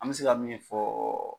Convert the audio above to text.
An mɛ se ka min fɔ